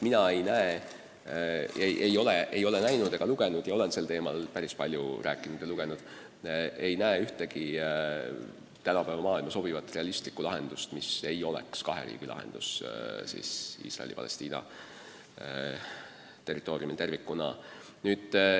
Mina ei ole kuulnud ega näinud ühtegi tänapäeva maailma sobivat realistlikku lahendust – ja ma olen sel teemal päris palju rääkinud ja lugenud –, mis ei oleks kahe riigi lahendus Iisraeli ja Palestiina territooriumil tervikuna.